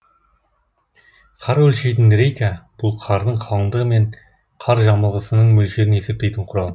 қар өлшейтін рейка бұл қардың қалыңдығы мен қар жамылғысының мөлшерін есептейтін құрал